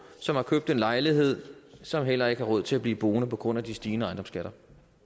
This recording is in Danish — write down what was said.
som har købt en lejlighed og som heller ikke har råd til at blive boende på grund af de stigende ejendomsskatter